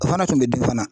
O fana kun bɛ di fana